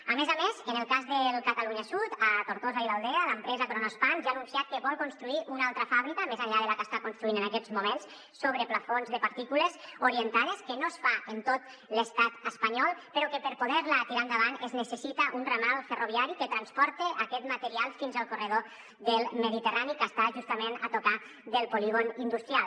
a més a més en el cas del catalunya sud a tortosa i l’aldea l’empresa kronospan ja ha anunciat que vol construir una altra fàbrica més enllà de la que està construint en aquests moments sobre plafons de partícules orientades que no es fa en tot l’estat espanyol però que per poder la tirar endavant es necessita un ramal ferroviari que transporta aquest material fins al corredor mediterrani que està justament a tocar del polígon industrial